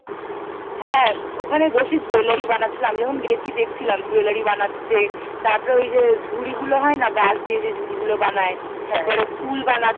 হ্যাঁ ওখানে বসে জুয়েলারি বানাচ্ছিল আমি যখন গেছি দেখছিলাম জুয়েলারি বানাচ্ছে তারপরে ওই যে ঝুড়িগুলো হয় না বাঁশ দিয়ে যে ঝুড়িগুলো বানায় তারপরে ফুল বানা